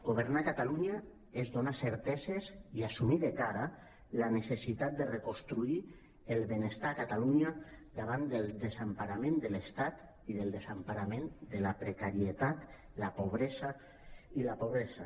governar catalunya és donar certeses i assumir de cara la necessitat de reconstruir el benestar a catalunya davant del desemparament de l’estat i del desemparament de la precarietat i la pobresa